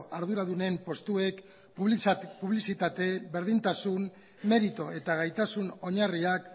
arduradunen postuek publizitate berdintasun meritu eta gaitasun oinarriak